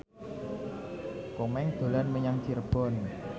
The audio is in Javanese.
Komeng dolan menyang Cirebon